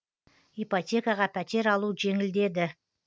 ипотекаға пәтер алу жеңілдеді